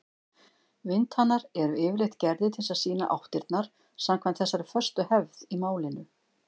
Vindhanar eru yfirleitt gerðir til að sýna áttirnar samkvæmt þessari föstu hefð í málinu.